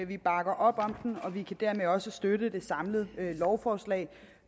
vi bakker op om dem og vi kan dermed også støtte det samlede lovforslag